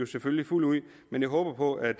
selvfølgelig fuldt ud men jeg håber at